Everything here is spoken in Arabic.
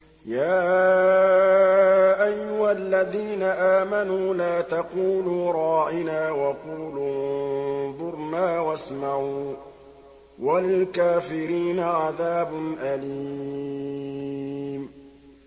يَا أَيُّهَا الَّذِينَ آمَنُوا لَا تَقُولُوا رَاعِنَا وَقُولُوا انظُرْنَا وَاسْمَعُوا ۗ وَلِلْكَافِرِينَ عَذَابٌ أَلِيمٌ